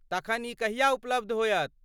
तखन ई कहिया उपलब्ध होयत?